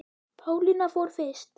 Pálína fór fyrst.